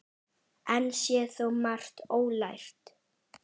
Enn sé þó margt ólært.